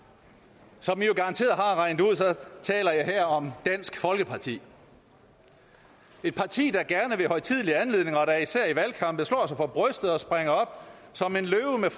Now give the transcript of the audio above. som man jo garanteret har regnet ud taler jeg her om dansk folkeparti et parti der gerne ved højtidelige anledninger og da især i valgkampe slår sig for brystet og springer op som en løve med